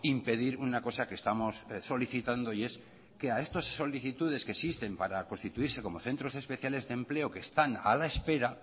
impedir una cosa que estamos solicitando y es que a estas solicitudes que existen para constituirse como centros especiales de empleo que están a la espera